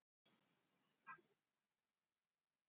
Rýming vegna torkennilegs dufts